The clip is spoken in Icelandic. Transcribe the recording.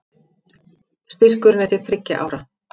Styrkurinn er til þriggja ára